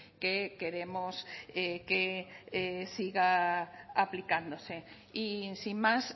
que queremos que siga aplicándose y sin más